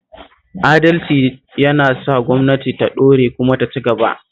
Adalci yana sa gwamnatin ta ɗore kuma ta ci gaba